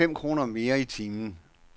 Vi vil have fem kroner mere i timen.